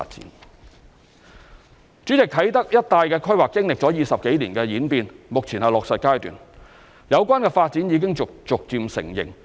代理主席，啟德一帶的規劃經歷了20多年的演變，目前是落實階段，有關發展已逐漸成型。